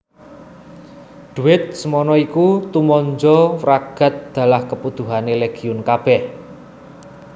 Dhuwit semana iku tumanja wragad dalah kabutuhané Legiun kabèh